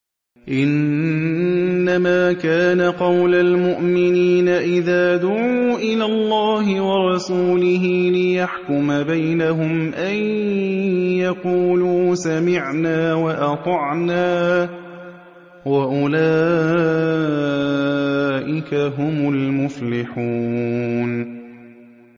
إِنَّمَا كَانَ قَوْلَ الْمُؤْمِنِينَ إِذَا دُعُوا إِلَى اللَّهِ وَرَسُولِهِ لِيَحْكُمَ بَيْنَهُمْ أَن يَقُولُوا سَمِعْنَا وَأَطَعْنَا ۚ وَأُولَٰئِكَ هُمُ الْمُفْلِحُونَ